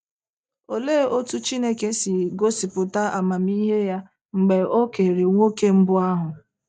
Olee otú Chineke si gosịpụta amamihe ya mgbe o kere nwoke mbụ ahụ?